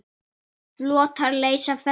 Flotar leysa festar.